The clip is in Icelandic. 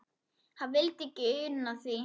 Hann vildi ekki una því.